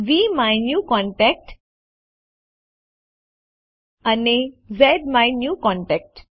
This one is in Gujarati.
વીમાયન્યુકોન્ટેક્ટ અને ઝ્માયન્યુકોન્ટેક્ટ